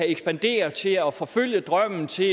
ekspandere til at forfølge drømmen til